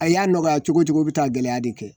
An y'a nɔgɔya cogo o cogo bɛ taa gɛlɛya de kɛ.